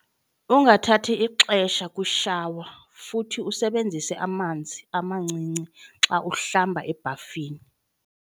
Ungathathi ixesha kwishawa futhi usebenzise amanzi amancinci xa uhlamba ebhafini.